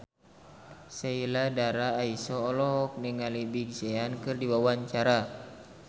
Sheila Dara Aisha olohok ningali Big Sean keur diwawancara